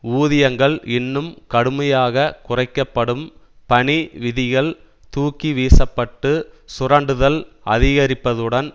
ஊதியங்கள் இன்னும் கடுமையாக குறைக்க படும் பணி விதிகள் தூக்கிவீசப்பட்டு சுரண்டுதல் அதிகரிப்பதுடன்